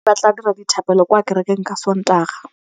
ba tla dira dithapêlô kwa kerekeng ka Sontaga.